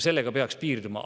Sellega peaks piirduma.